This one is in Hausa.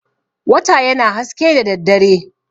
Wata yana haske da daddare.